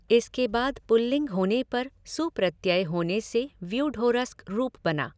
इसके बाद पुल्लिंग होने पर सु प्रत्यय होने से व्यूढोरस्कः रूप बना।